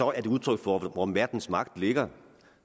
er udtryk for hvor verdens magt ligger